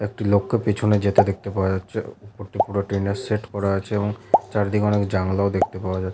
একটি লোককে পেছনে যেতে দেখতে পাওয়া যাচ্ছে উপরটি পুরো টিনের সেড করা আছে এবং চারিদিকে অনেক জানালা ও দেখতে পাওয়া যা--